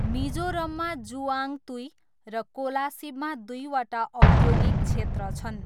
मिजोरममा जुआङतुई र कोलासिबमा दुईवटा औद्योगिक क्षेत्र छन्।